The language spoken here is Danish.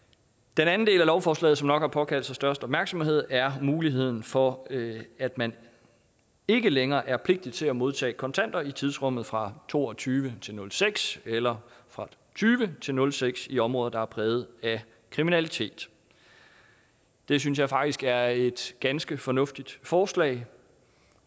den anden del af lovforslaget som nok har påkaldt sig størst opmærksomhed er muligheden for at man ikke længere er pligtigt til at modtage kontanter i tidsrummet fra to og tyve til nul seks eller fra tyve til nul seks i områder der er præget af kriminalitet det synes jeg faktisk er et ganske fornuftigt forslag jeg